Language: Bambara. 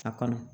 A kɔnɔ